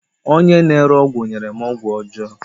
Onye na-ere ọgwụ nyere m ọgwụ ọjọọ